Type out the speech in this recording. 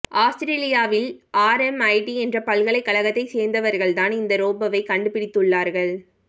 ஆஸ்திரேலியாவில் ஆர்எம்ஐடி என்ற பல்கலைக்கழகத்தை சேர்ந்தவர்கள்தான் இந்த ரோபோவை கண்டு பிடித்துள்ளார்கள்